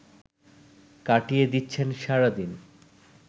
কাটিয়ে দিচ্ছেন সারাদিন